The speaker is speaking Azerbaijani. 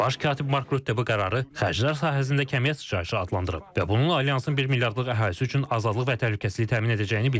Baş katib Mark Rutte bu qərarı xərclər sahəsində kəmiyyət sıçrayışı adlandırıb və bunun alyansın 1 milyardlıq əhalisi üçün azadlıq və təhlükəsizlik təmin edəcəyini bildirib.